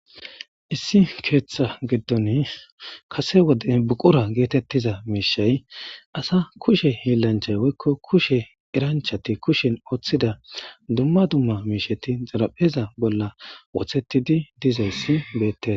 Issi keeththa giddon kase woden buqura geetettiza miishay asa kushe hiillanchay woykko kushe eranchati kushen ooththida dumma dumma miisheti zarapheza bolla wothettidi dizayssi beette.